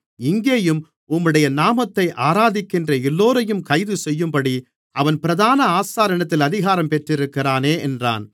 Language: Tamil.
இங்கேயும் உம்முடைய நாமத்தை ஆராதிக்கின்ற எல்லோரையும் கைதுசெய்யும்படி அவன் பிரதான ஆசாரியனிடத்தில் அதிகாரம் பெற்றிருக்கிறானே என்றான்